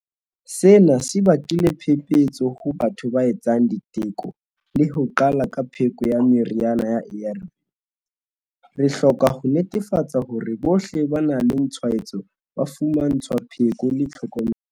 Sena se bakile phephetso ho batho ba etsang diteko le ho qala ka pheko ya meriana ya ARV. Re hloka ho netefatsa hore bohle ba nang le tshwaetso ba fumantshwa pheko le tlhokomelo.